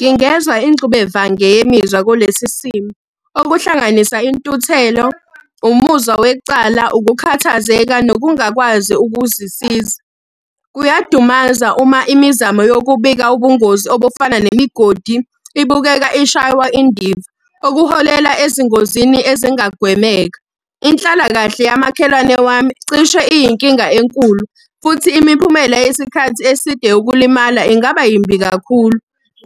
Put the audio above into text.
Ngingezwa ingxubevange yemizwa kulesi simo, okuhlanganisa intuthelo, umuzwa wecala, ukukhathazeka nokungakwazi ukuzisiza. Kuyadumaza uma imizamo yokubika ubungozi obufana nemigodi, ibukeka ishaywa indiva, okuholela ezingozini ezingagwemeka. Inhlalakahle yamakhelwane wami cishe iyinkinga enkulu, futhi imiphumela yesikhathi eside ukulimala ingaba yimbi kakhulu.